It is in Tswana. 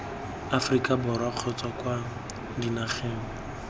aforika borwa kgotsa kwa dinageng